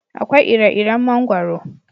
Akwai ire iren mangwaro